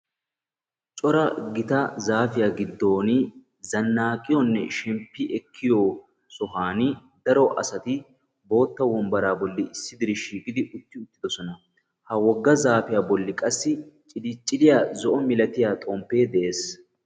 Cora gita zaafiya giddooni zannaaqiyonne shemppi ekkiyo sohaani daro asati bootta wombbaraa bolli issi diraa shiiqidi uttidosona. Ha wogga zaafiya bolli qassi ciliciliya zo'o milatiya xomppee de'ees.